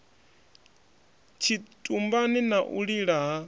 tshitumbani na u lila ha